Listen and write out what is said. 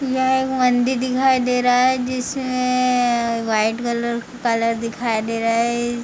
यह एक मंदिर दिखाई दे रहा हैजिसमें व्‍हाईट कलर कलर दिखाई दे रहा है।